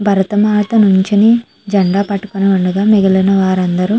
భరత మాత నించుని జెండా పట్టుకుని ఉండగా మిగిలిన వారందరూ --